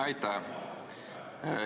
Aitäh!